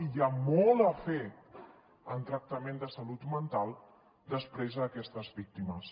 i hi ha molt a fer en tractament de salut mental després a aquestes víctimes